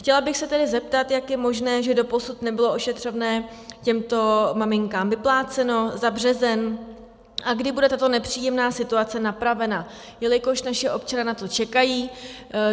Chtěla bych se tedy zeptat, jak je možné, že doposud nebylo ošetřovné těmto maminkám vyplaceno za březen a kdy bude tato nepříjemná situace napravena, jelikož naši občané na to čekají.